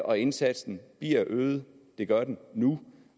og indsatsen bliver øget det gør den nu